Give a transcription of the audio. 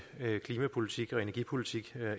klimapolitik og energipolitik